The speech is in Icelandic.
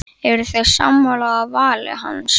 Eruð þið sammála vali hans?